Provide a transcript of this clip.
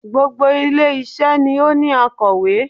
Gbogbo ilé isé ni ó ní akòwé